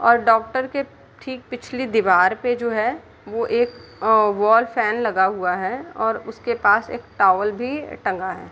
और डॉक्टर के ठीक पिछली दिवार पे जो है वो एक वॉल फेन लगा हुआ है और उसके पास एक टॉवल भी टंगा है ।